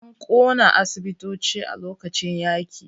An ƙona asibitoci a lokacin yaƙi.